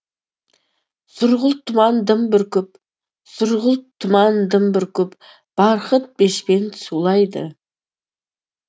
сұрғылт тұман дым бүркіп сұрғылт тұман дым бүркіп барқыт бешпент сулайды